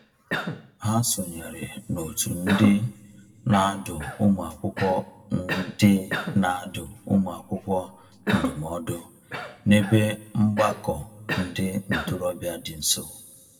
Ha sonyeere n'òtù ndị na-adụ ụmụakwụkwọ ndị na-adụ ụmụakwụkwọ ndụmọdụ n'ebe mgbakọ ndị ntorobịa dị nso.